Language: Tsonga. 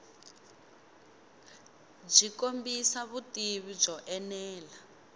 byi kombisa vutivi byo enela